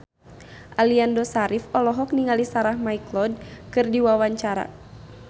Aliando Syarif olohok ningali Sarah McLeod keur diwawancara